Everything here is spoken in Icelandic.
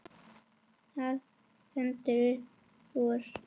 Það stendur upp úr.